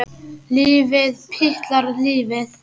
Lífið, piltar, lífið.